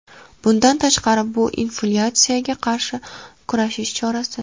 Bundan tashqari, bu inflyatsiyaga qarshi kurashish chorasi.